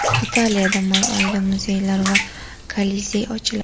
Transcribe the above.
Italiyada may oyida muzeylar va Kolizey ochiladi.